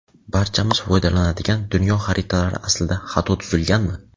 Barchamiz foydalanadigan dunyo xaritalari aslida xato tuzilganmi?.